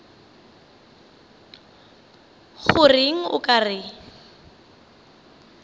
go reng o ka re